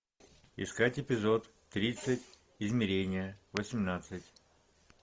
искать эпизод тридцать измерение восемнадцать